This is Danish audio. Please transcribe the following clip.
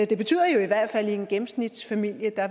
det betyder jo i hvert fald at i en gennemsnitsfamilie